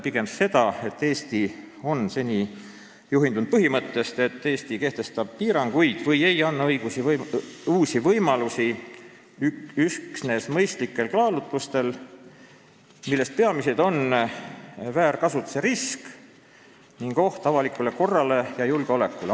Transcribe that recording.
Pigem on mõeldud seda, et Eesti on seni juhindunud põhimõttest, et Eesti kehtestab piiranguid või ei anna uusi võimalusi üksnes mõistlikel kaalutlustel, millest peamised on väärkasutuse risk ning oht avalikule korrale ja julgeolekule.